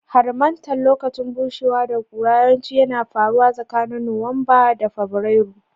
Harmattan, lokacin bushewa da ƙura, yawanci yana faruwa tsakanin Nuwamba da Fabrairu.